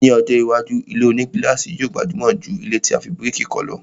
Ni ọjọ́ iwájú, ilé-onígílàsì yóò gbajúmọ̀ jù ilẹ́ tí a fi bíríkì kọ́ lọ